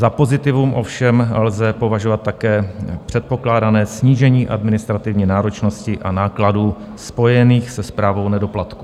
Za pozitivum ovšem lze považovat také předpokládané snížení administrativní náročnosti a nákladů spojených se správou nedoplatku.